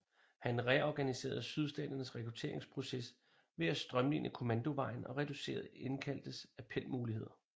Han reorganiserede sydstaternes rekrutteringsproces ved at strømline kommandovejen og reducerede indkaldtes appelmuligheder